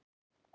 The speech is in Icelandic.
Snævar